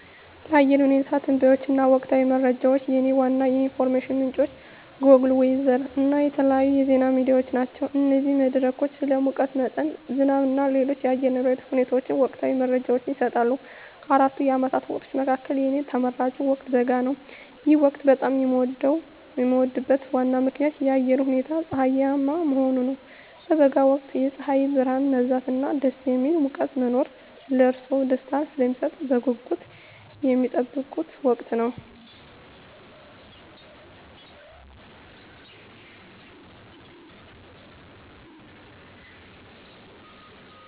ለአየር ሁኔታ ትንበያዎች እና ወቅታዊ መረጃዎች፣ የእኔ ዋና የኢንፎርሜሽን ምንጮች ጎግል ዌዘር እና የተለያዩ የዜና ሚዲያዎች ናቸው። እነዚህ መድረኮች ስለ ሙቀት መጠን፣ ዝናብ እና ሌሎች የአየር ንብረት ሁኔታዎች ወቅታዊ መረጃዎችን ይሰጣሉ። ከአራቱ የዓመት ወቅቶች መካከል፣ የእኔ ተመራጭ ወቅት በጋ ነው። ይህ ወቅት በጣም የሚወደድበት ዋና ምክንያት የአየሩ ሁኔታ ፀሐያማ መሆኑ ነው። በበጋ ወቅት የፀሐይ ብርሃን መብዛት እና ደስ የሚል ሙቀት መኖር ለእርስዎ ደስታን ስለሚሰጡት በጉጉት የሚጠበቅ ወቅት ነው።